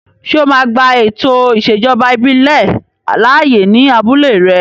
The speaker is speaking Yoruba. Ṣé o máa gba ètò ìṣèjọba ìbílẹ̀ láàyè ní abúlé rẹ?